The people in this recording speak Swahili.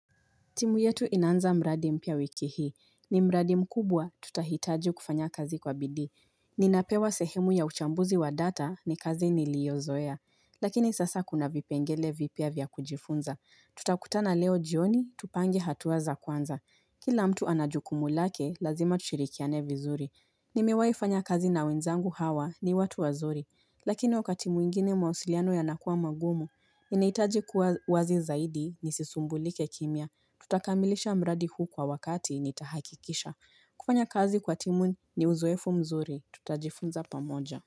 Timu yetu inaanza mradi mpya wiki hii. Ni mradi mkubwa tutahitaji kufanya kazi kwa bidii. Ninapewa sehemu ya uchambuzi wa data ni kazi niliozoea. Lakini sasa kuna vipengele vipya vya kujifunza. Tutakutana leo jioni, tupange hatua za kwanza. Kila mtu anajukumu lake, lazima tushirikiane vizuri. Nimewahifanya kazi na wenzangu hawa ni watu wazuri. Lakini wakati mwingine mawasiliano yanakuwa magumu. Inahitaji kuwa wazi zaidi ni sisumbulike kimya. Tutakamilisha mradi huu kwa wakati nitahakikisha. Kufanya kazi kwa timu ni uzoefu mzuri. Tutajifunza pamoja.